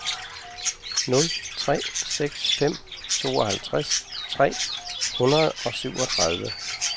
nul tre seks fem tooghalvtreds tre hundrede og syvogtredive